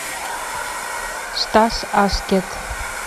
стас аскет